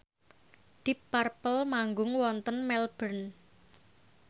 deep purple manggung wonten Melbourne